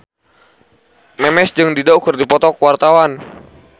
Memes jeung Dido keur dipoto ku wartawan